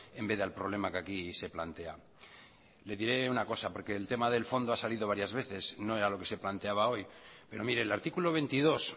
en vez de al problema que aquí se plantea le diré una cosa porque el tema del fondo ha salido varias veces no era lo que se planteaba hoy pero mire el artículo veintidós